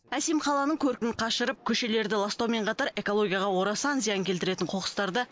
әсем қаланың көркін қашырып көшелерді ластаумен қатар экологияға орасан зиян келтіретін қоқыстарды